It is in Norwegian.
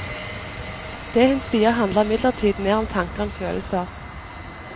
Det hun sier, handler imidlertid mer om tanker enn følelser.